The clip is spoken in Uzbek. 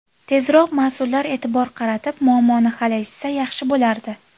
Tezroq mas’ullar e’tibor qaratib, muammoni hal etishsa yaxshi bo‘lardi.